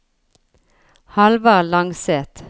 Halvard Langseth